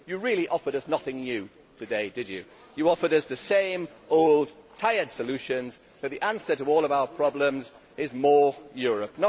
You really offered us nothing new today, did you? You offered us the same old tired solutions, that the answer to all of our problems is more Europe.